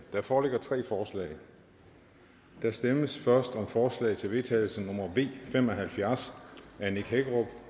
der foreligger tre forslag der stemmes først om forslag til vedtagelse nummer v fem og halvfjerds af nick hækkerup